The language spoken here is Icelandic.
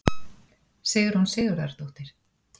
Sigrún Sigurðardóttir.